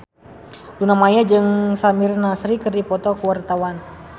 Luna Maya jeung Samir Nasri keur dipoto ku wartawan